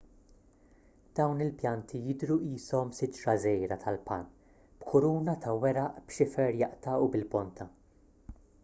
dawn il-pjanti jidhru qishom siġra żgħira tal-palm b'kuruna ta' weraq b'xifer jaqta' u bil-ponta